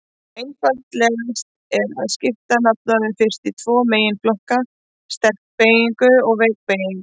Einfaldast er að skipta nafnorðum fyrst í tvo meginflokka: sterka beygingu og veika beygingu.